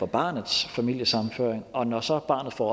barnets familiesammenføring og når så barnet får